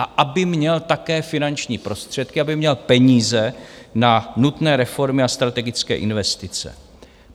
A aby měl také finanční prostředky, aby měl peníze na nutné reformy a strategické investice.